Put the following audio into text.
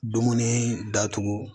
Dumuni datugu